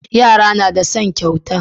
Yara nada son kyauta